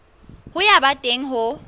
ya ho ba teng ho